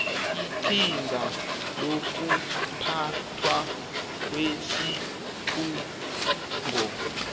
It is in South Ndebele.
iqhinga lokuphathwa kwesikhungo